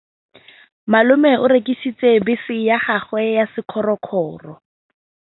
Malome o rekisitse bese ya gagwe ya sekgorokgoro.